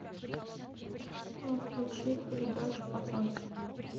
включить передачу пацанки